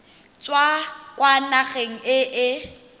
tswa kwa nageng e e